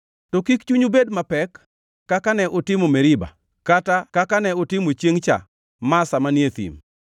to kik chunyu bed mapek kaka ne utimo Meriba, kata kaka ne utimo chiengʼ cha Masa manie thim,